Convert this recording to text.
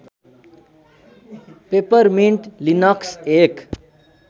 Peppermint Linux एक